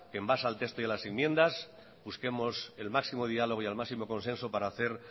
que en base al texto y a las enmiendas busquemos el máximo diálogo y el máximo consenso para hacer